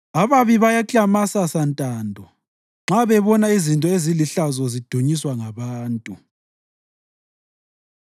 Ababi bayaklamasa santando nxa bebona izinto ezilihlazo zidunyiswa ngabantu.